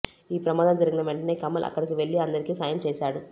ఈ ప్రమాదం జరిగిన వెంటనే కమల్ అక్కడికి వెళ్లి అందరికీ సాయం చేసాడు